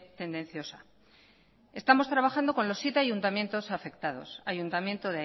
tendenciosa estamos trabajando con los siete ayuntamientos afectados ayuntamiento